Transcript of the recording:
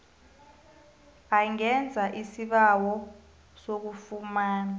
angenza isibawo sokufumana